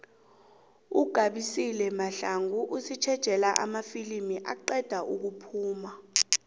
ugabisile mahlangu usitjejela amafilimu aqeda ukuphuma